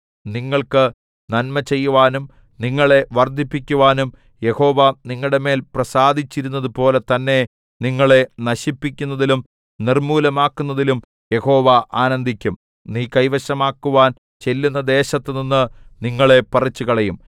നിങ്ങൾക്ക് നന്മ ചെയ്യുവാനും നിങ്ങളെ വർദ്ധിപ്പിക്കുവാനും യഹോവ നിങ്ങളുടെമേൽ പ്രസാദിച്ചിരുന്നതുപോലെ തന്നെ നിങ്ങളെ നശിപ്പിക്കുന്നതിലും നിർമ്മൂലമാക്കുന്നതിലും യഹോവ ആനന്ദിക്കും നീ കൈവശമാക്കുവാൻ ചെല്ലുന്ന ദേശത്തുനിന്ന് നിങ്ങളെ പറിച്ചുകളയും